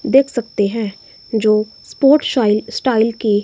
देख सकते हैं जो स्पोर्ट शाईल स्टाईल की--